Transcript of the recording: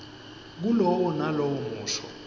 kulowo nalowo musho